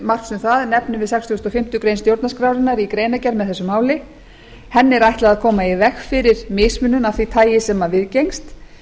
marks um það nefnum við sextugustu og fimmtu grein stjórnarskrárinnar í greinargerð með þessu máli henni er ætlað að koma í veg fyrir mismunun af því tagi sem viðgengst